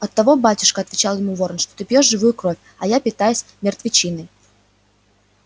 оттого батюшка отвечал ему ворон что ты пьёшь живую кровь а я питаюсь мертвечиной